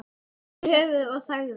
Hún hristi höfuðið og þagði.